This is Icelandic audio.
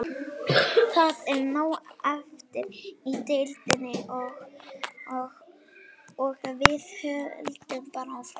Það er nóg eftir í deildinni og við höldum bara áfram.